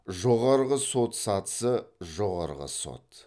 жоғарғы сот сатысы жоғарғы сот